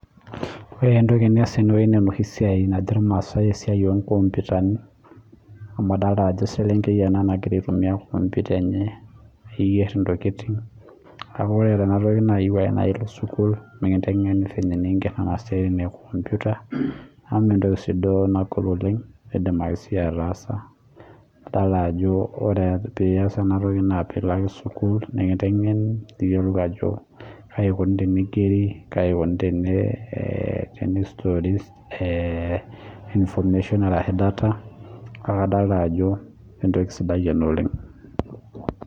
Ore entoki nias tenewueji naa enoshi naajo irmaasai esiai oo nkompitani amu adol Ajo eselenkei ena nagiraa aitumia kompita enye niger entokitin kake ore Tena toki naa keyieu ake naa elo sukuul mikintengeni fenye niger Kuna siatin ee kompita amu mee entoki sii duo nagol oleng edim ake duo siiyie ataasa adol Ajo ore pee eyas ena toki naa pilo ake sukuul mikintengeni niyiolou Ajo kaji eikoni tenigeri kaji eikoni tenistoli information ashu data kae adolita Ajo entoki sidai ena oleng